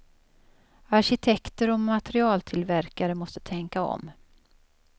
Arkitekter och materialtillverkare måste tänka om.